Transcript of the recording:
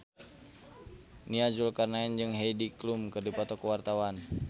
Nia Zulkarnaen jeung Heidi Klum keur dipoto ku wartawan